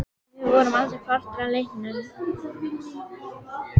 Við vorum aldrei partur af leiknum.